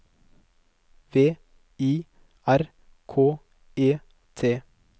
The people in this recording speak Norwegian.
V I R K E T